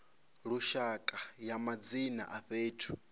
lushaka ya madzina a fhethu